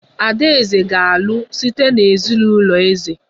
Adaeze ga-alụ site na ezinụlọ eze